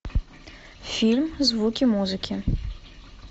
фильм звуки музыки